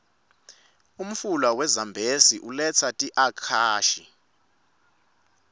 umfula we zambezi uletsa tiuakashi